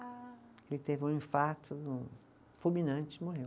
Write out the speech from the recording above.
Ah. Ele teve um infarto no, fulminante e morreu.